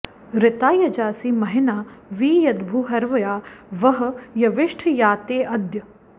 ऋता यजासि महिना वि यद्भूर्हव्या वह यविष्ठ या ते अद्य